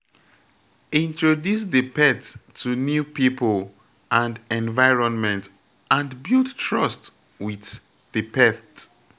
Introduce di pet to new pipo and environment and build trust with di pet